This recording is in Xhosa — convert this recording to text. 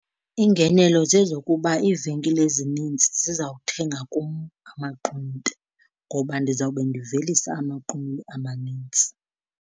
Iingenelo zezokuba iivenkile ezininzi zizawuthenga kum amaqunube ngoba ndizawube ndivelisa amaqunube amanintsi.